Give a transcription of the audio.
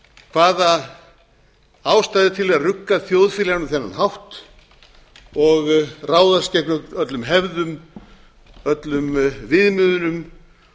hvaða ástæða er til að rugga þjóðfélaginu á þennan hátt og ráðast gegn öllum hefðum öllum viðmiðunum